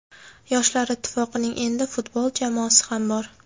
Yoshlar Ittifoqining endi futbol jamoasi ham bor.